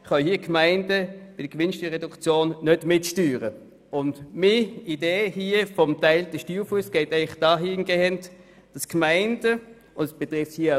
Meine Idee ist es, dass die Gemeinden den Steuerfuss teilen können, und das betrifft den Kanton nicht.